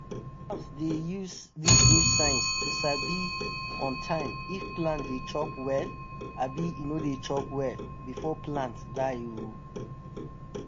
farmers dey use dis new science to sabi on time if plant dey chop well abi e no dey chop well before plant die o!